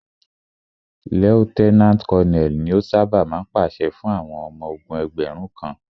Lieutenant Colonel ni o ṣábà máa ń pàṣẹ fún àwọn ọmọ ogún ẹgbẹ̀rún kan.